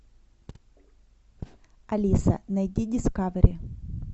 алиса найди дискавери